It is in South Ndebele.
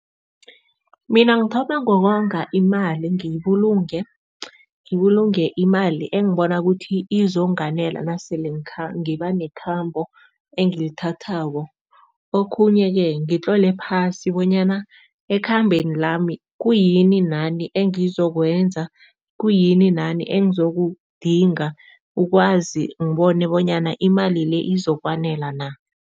Mina ngithoma ngokonga imali ngiyibulunge, ngibulunge imali engibona ukuthi izonganela nasele ngiba nekhambo engilithathako. Okhunye-ke ngitlole phasi bonyana ekhambeni lami, khuyini nani engizokwenza, khuyini nani engizokudinga, ukwazi ngibone bonyana imali le izokwanela na.